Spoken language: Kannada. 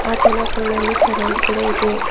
ಆತನ ಕೊಳಲ್ಲಿ ಸರವು ಕೂಡ ಇದೆ.